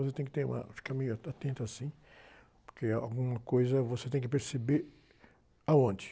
Você tem que ter uma, ficar meio, atento assim, porque alguma coisa você tem que perceber. Aonde?